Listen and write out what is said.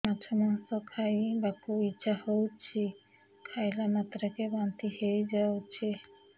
ମାଛ ମାଂସ ଖାଇ ବାକୁ ଇଚ୍ଛା ହଉଛି ଖାଇଲା ମାତ୍ରକେ ବାନ୍ତି ହେଇଯାଉଛି